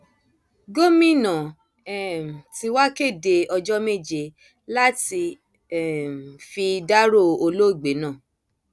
gomina um tí wàá kéde ọjọ méje láti um fi dárò olóògbé náà